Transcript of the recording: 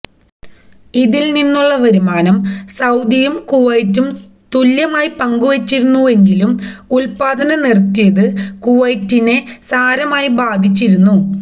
ഇതില്നിന്നുള്ള വരുമാനം സഊദിയും കുവൈത്തും തുല്യമായി പങ്കുവച്ചിരുന്നെങ്കിലും ഉല്പാദനം നിറുത്തിയത് കുവൈത്തിനെ സാരമായി ബാധിച്ചിരുന്നു